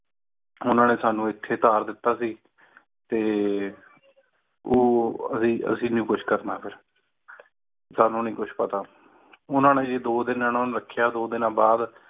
ਉਹਨਾਂ ਨੇ ਸਾਨੂੰ ਇੱਥੇ ਉਤਾਰ ਦਿੱਤਾ ਸੀ ਤੇ ਓਹ ਨਹੀਂ ਕੁੱਝ ਕਰਨਾ ਫਿਰ ਸਾਨੂ ਨਹੀਂ ਕੁਜ ਪਤਾ ਉਨ੍ਹਾਂ ਨੇ ਜੀ ਦੋ ਦਿਨ ਇਹਨਾਂ ਨੂੰ ਰੱਖਿਆ, ਫਿਰ ਦੋ ਦੀਨਾ ਦੇ ਬਾਦ